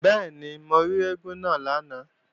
Bẹ́ẹ̀ni, mo rí eégún lánàá